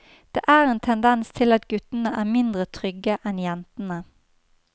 Det er en tendens til at guttene er mindre trygge enn jentene.